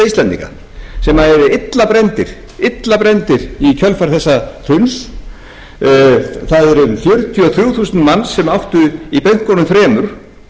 íslendinga sem eru illa brenndir í kjölfar þessa hruns það eru um fjörutíu og þrjú þúsund manns sem áttu í bönkunum þremur